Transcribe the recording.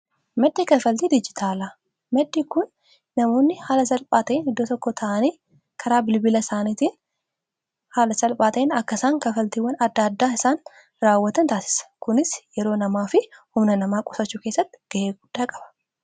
Maddii kafaltii dijitaalaa maddhi kun namoonni haala salphaa ta'en iddoo tokko ta'anii karaa bilbila isaaniitiin haala salphaa ta'in akkasaan kafaltiiwwan adda addaa isaan raawwatan taasisa. kunis yeroo namaa fi humna namaa qusachuu kessatti ga'ee guddaa qaba.